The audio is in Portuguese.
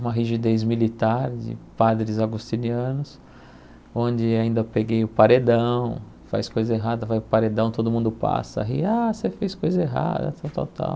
Uma rigidez militar de padres agostinianos, onde ainda peguei o paredão, faz coisa errada, vai para o paredão, todo mundo passa ri, ah, você fez coisa errada, tal, tal, tal.